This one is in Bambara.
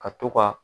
Ka to ka